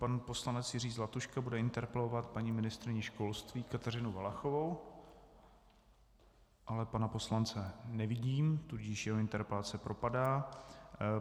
Pan poslanec Jiří Zlatuška bude interpelovat paní ministryni školství Kateřinu Valachovou - ale pana poslance nevidím, tudíž jeho interpelace propadá.